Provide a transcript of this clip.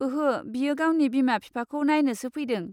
ओहो, बियो गावनि बिमा बिफाखौ नायनोसो फैदों।